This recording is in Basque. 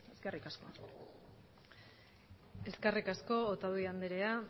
eta eskerrik asko eskerrik asko otadui andrea